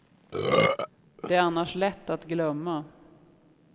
Det är annars lätt att glömma.